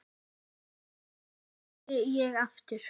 Nei, segi ég aftur.